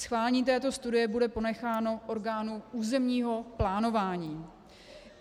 Schválení této studie bude ponecháno orgánu územního plánování.